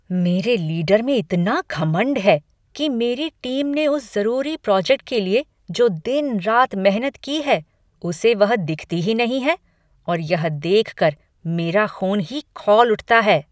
मेरे लीडर में इतना घमंड है कि मेरी टीम ने उस ज़रूरी प्रोजेक्ट के लिए जो दिन रात मेहनत की है उसे वह दिखती ही नहीं है और यह देखकर मेरा ख़ून ही खौल उठता है।